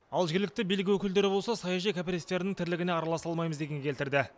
ал жергілікті билік өкілдері болса саяжай кооперативтерінің тірлігіне араласа алмаймыз дегенге келтірді